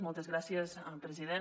moltes gràcies president